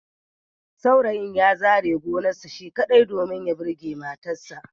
Saurayin ya zare gonarsa shi kaɗai, domin ya burge matarsa